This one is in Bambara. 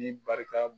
Ni barika